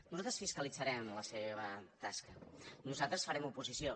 nosaltres fiscalitzarem la seva tasca nosaltres farem oposició